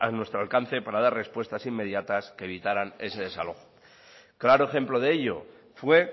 nuestro alcance para dar respuestas inmediatas que evitaran ese desalojo claro ejemplo de ello fue